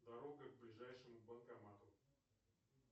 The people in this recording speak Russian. дорога к ближайшему банкомату